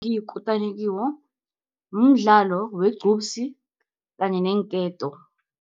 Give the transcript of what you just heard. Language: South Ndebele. Ngiyikutani kiwo, mdlalo wegqubsi, kanye neenketo.